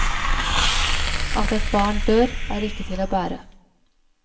At et barn dør, er ikke til å bære.